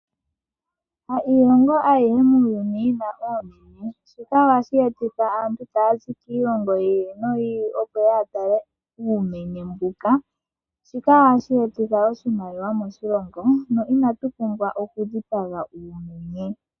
Ha iilongo ayihe muuyuni yi na ouumenye, shika ohashi etitha aantu taya zi kiilongo yi ili noyi ili, opo ye ye ya tale uumenye mbuka. Shika ohashi etitha iimaliwa moshilongo, onkene inatu pumbwa okudhipaga uumenye.